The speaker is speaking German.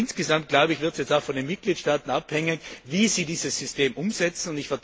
Insgesamt wird es jetzt auch von den Mitgliedstaaten abhängen, wie sie dieses System umsetzen.